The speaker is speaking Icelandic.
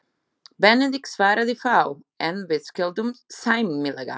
Benedikt svaraði fáu, en við skildum sæmilega.